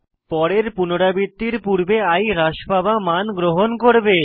পরের পুনরাবৃত্তির পূর্বে i হ্রাস পাওয়া মান গ্রহণ করবে